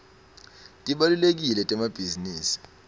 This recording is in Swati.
tibalulekile temabhizinisi